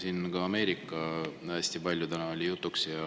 Siin oli Ameerika täna hästi palju jutuks.